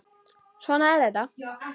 Svona er þetta.